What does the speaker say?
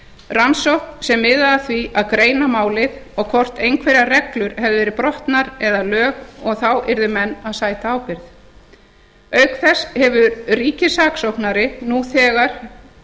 rannsókn sem miðaði að því að greina málið og hvort einhverjar reglur hefðu verið brotnar eða lög og þá yrðu menn að sæta ábyrgð auk þess hefur ríkissaksóknara nú þegar